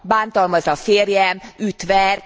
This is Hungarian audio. Bántalmaz a férjem, üt, ver.